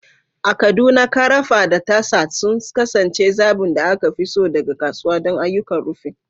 A Kaduna, ƙarafa da tasa sun kasance zaɓin da aka fi so daga kasuwa don ayyukan rufin.